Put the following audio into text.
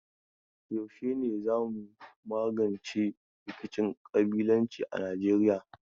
Yaushe za mu magance rikicin ƙabilanci a Nijeiya?